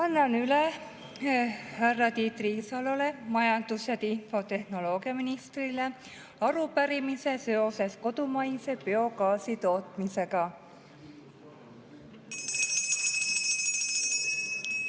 Annan üle härra Tiit Riisalole, majandus‑ ja infotehnoloogiaministrile, arupärimise seoses kodumaise biogaasi tootmisega.